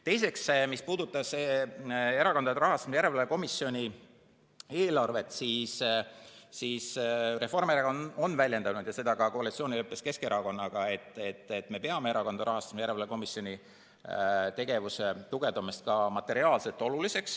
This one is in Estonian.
Teiseks, mis puudutab Erakondade Rahastamise Järelevalve Komisjoni eelarvet, siis Reformierakond on väljendanud ju seda ka koalitsioonileppes Keskerakonnaga, et me peame oluliseks Erakondade Rahastamise Järelevalve Komisjoni tegevuse tugevdamist ka materiaalselt.